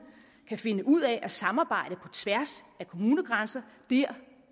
kan finde ud af at samarbejde på tværs af kommunegrænser dér